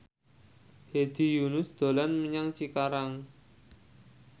Hedi Yunus dolan menyang Cikarang